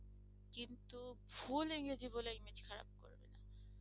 full ইংরেজি বলে image খারাপ করবে না।